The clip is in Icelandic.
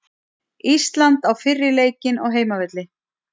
Ísland á fyrri leikinn á heimavelli